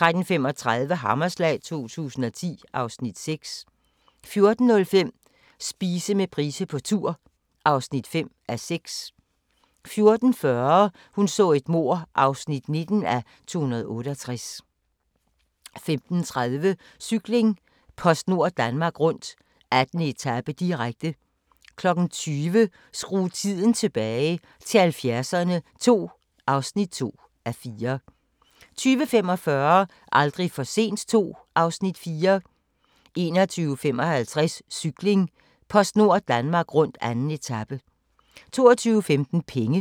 13:35: Hammerslag 2010 (Afs. 6) 14:05: Spise med Price på tur (5:6) 14:40: Hun så et mord (19:268) 15:30: Cykling: PostNord Danmark Rundt - 2. etape, direkte 20:00: Skru tiden tilbage – til 70'erne II (2:4) 20:45: Aldrig for sent II (Afs. 4) 21:55: Cykling: PostNord Danmark rundt: 2. etape 22:15: Penge